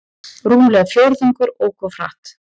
Rúmlega fjórðungur ók of hratt